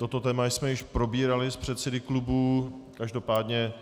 Toto téma jsme již probírali s předsedy klubů, každopádně